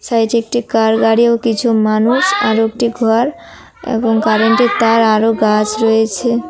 Size এ একটি car গাড়ি ও কিছু মানুষ আরও একটি ঘর এবং কারেন্ট -এর তার আরও গাছ রয়েছে।